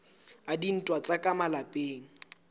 a dintwa tsa ka malapeng